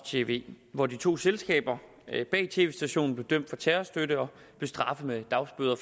tv hvor de to selskaber bag tv stationen blev dømt for terrorstøtte og straffet med dagbøder